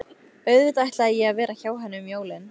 Auðvitað ætlaði ég að vera hjá henni um jólin.